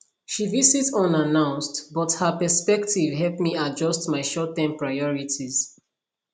she visit unannounced but her perspective help me adjust my shortterm priorities